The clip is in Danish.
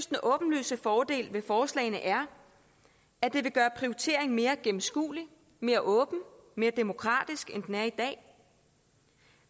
den åbenlyse fordel ved forslagene er at det vil gøre prioriteringen mere gennemskuelig mere åben mere demokratisk end den er i dag